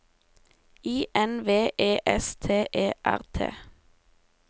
I N V E S T E R T